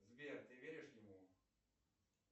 сбер ты веришь ему